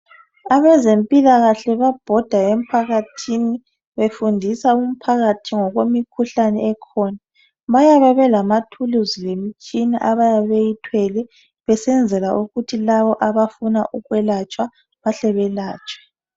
Abezempilakahle babhoda emphakathini befundisa umphakathi ngokwemikhuhlane ekhona. Bayabe belamathuluzi lemitshina abayabe beyithwele besenzela ukuthi labo abafuna ukwelatshwa bahle belatshwe.